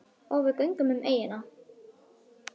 Og við göngum um eyjuna.